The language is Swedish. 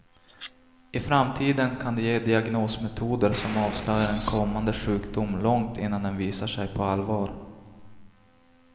I framtiden kan det ge diagnosmetoder som avslöjar en kommande sjukdom långt innan den visar sig på allvar.